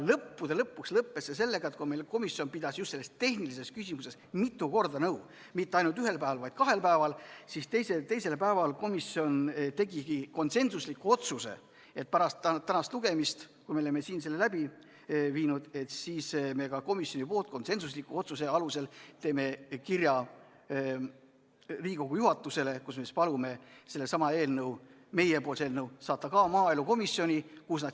Lõpuks lõppes see sellega, et kui meie komisjon pidas just selles tehnilises küsimuses mitu korda nõu – mitte ainult ühel päeval, vaid kahel päeval –, siis teisel päeval tegigi komisjon konsensusliku otsuse: pärast tänast lugemist, kui me oleme siin selle läbi viinud, teeme komisjoni konsensusliku otsuse alusel Riigikogu juhatusele kirja, kus me palume sellesama meie eelnõu saata maaelukomisjoni.